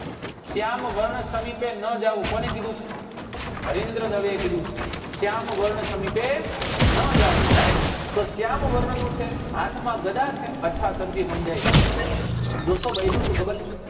શ્યામ વર્ણ સમીપે નાં જવું કોને કીધું છે હરીન્દ્ર દવે કીધું છે શ્યામ વર્ણ સમીપે નાં જવું right તો શ્યામ વર્ણ નું છે હાથ માં ગદા છે અચ્છા સર જી સમજાઈ ગયું દોસ્તો બાઈ નું શું ખબર છે